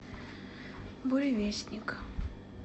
буревестник